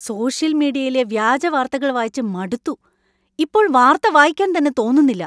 Social മീഡിയയിലെ വ്യാജവാർത്തകൾ വായിച്ച് മടുത്തു; ഇപ്പോൾ വാർത്ത വായിക്കാൻ തന്നെ തോന്നുന്നില്ല.